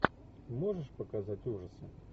можешь показать ужасы